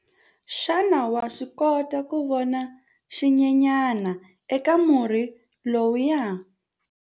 Xana wa swi kota ku vona xinyenyana eka murhi lowuya?